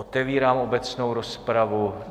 Otevírám obecnou rozpravu.